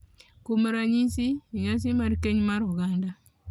Kuom ranyisi, e nyasi mar keny mar oganda .